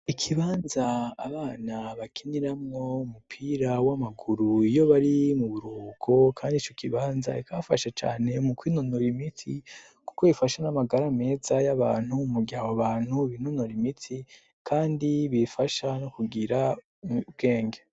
ikibanza abana bakiniramwo umupira w'amaguru iyo bari mu buruhuko kandi ico kibanza ikafashe cane mu kwinonora imitsi kuko ifasha n'amagara ameza y'abantu mugihe abobantu binonora imitsi kandi bifasha no kugira ubwenge